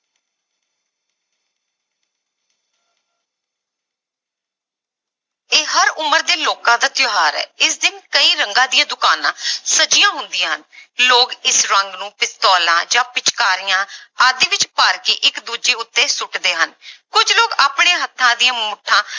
ਇਹ ਹਰ ਉਮਰ ਦੇ ਲੋਕਾਂ ਦਾ ਤਿਉਹਾਰ ਹੈ ਇਸ ਦਿਨ ਕਈ ਰੰਗਾਂ ਦੀਆਂ ਦੁਕਾਨਾਂ ਸਜੀਆਂ ਹੁੰਦੀਆਂ ਹਨ ਲੋਕ ਇਸ ਰੰਗ ਨੂੰ ਪਿਸਤੋਲਾਂ ਜਾਂ ਪਿਚਕਾਰੀਆਂ ਆਦਿ ਵਿੱਚ ਭਰ ਕੇ ਇੱਕ ਦੂਜੇ ਉੱਤੇੇ ਸੁੱਟਦੇ ਹਨ ਕੁੱਝ ਲੋਕ ਆਪਣੇ ਹੱਥਾਂ ਦੀਆਂ ਮੁੱਠਾਂ